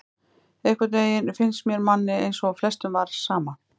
Einhvern veginn finnst manni eins og flestum var sama,